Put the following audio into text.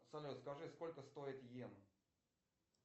салют скажи сколько стоит йен